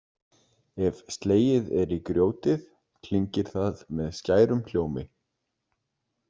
Ef slegið er í grjótið klingir það með skærum hljómi.